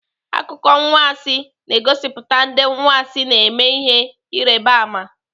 Akụkọ anwansị na-egosipụta ndị anwansị na-eme ihe Ịrịbama.